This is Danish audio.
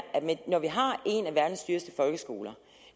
at når vi har en af verdens dyreste folkeskoler